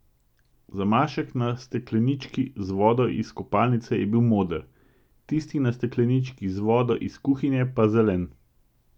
Zamašek na steklenički z vodo iz kopalnice je bil moder, tisti na steklenički z vodo iz kuhinje pa zelen.